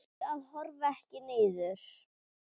Reyndu að horfa ekki niður.